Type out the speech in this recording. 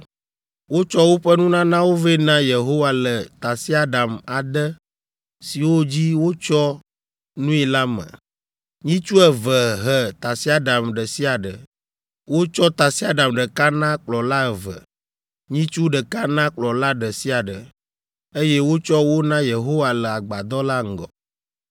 Wotsɔ woƒe nunanawo vɛ na Yehowa le tasiaɖam ade siwo dzi wotsyɔ nui la me. Nyitsu eve he tasiaɖam ɖe sia ɖe. Wotsɔ tasiaɖam ɖeka na kplɔla eve, nyitsu ɖeka na kplɔla ɖe sia ɖe, eye wotsɔ wo na Yehowa le Agbadɔ la ŋgɔ.